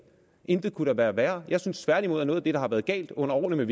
intet kunne da være værre jeg synes tværtimod at noget af det der har været galt under årene